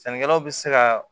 Sannikɛlaw bɛ se ka